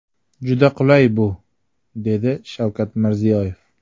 Juda qulay bu”, dedi Shavkat Mirziyoyev.